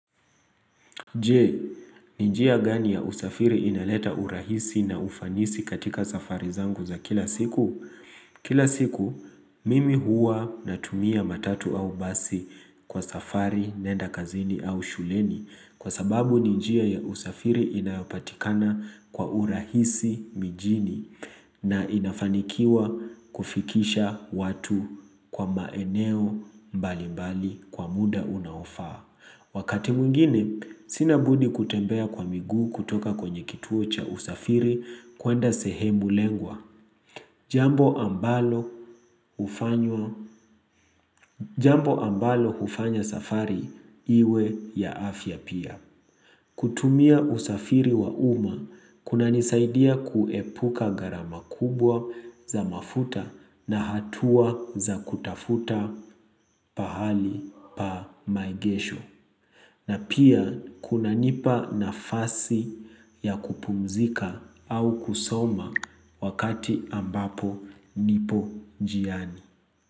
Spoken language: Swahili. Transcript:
Je, ni njia gani ya usafiri inaleta urahisi na ufanisi katika safari zangu za kila siku? Kila siku, mimi huwa natumia matatu au basi kwa safari, naenda kazini au shuleni Kwa sababu ni njia ya usafiri inayopatikana kwa urahisi mijini na inafanikiwa kufikisha watu kwa maeneo mbalimbali kwa muda unaofaa Wakati mwingine, sina budi kutembea kwa miguu kutoka kwenye kituo cha usafiri kuenda sehemu lengwa. Jambo ambalo hufanya safari iwe ya afya pia. Kutumia usafiri wa umma, kunanisaidia kuepuka gharama kubwa za mafuta na hatua za kutafuta pahali pa maegesho. Na pia kunanipa nafasi ya kupumzika au kusoma wakati ambapo nipo njiani.